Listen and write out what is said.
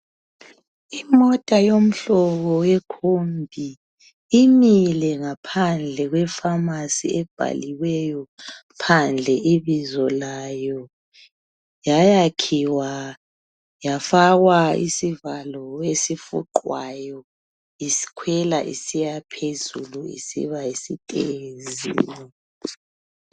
Imota yemhlobo wekombi imile phandle kwefamasi ebhaliweyo ibizo layo. Yayakhiwa yafakwa isivalo esifuqwayo ikwela isiba phezulu.